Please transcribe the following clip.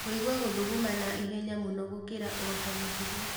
Kũigua gũthuguma na ihenya mũno gũkĩra otamũtugo